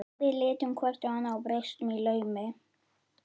Við litum hvort á annað og brostum í laumi.